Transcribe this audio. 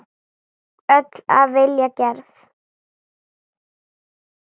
Öll af vilja gerð.